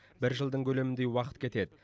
бір жылдың көлеміндей уақыт кетеді